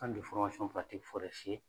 An tun bɛ